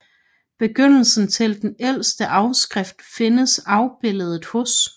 Begyndelsen til den ældste afskrift findes afbildet hos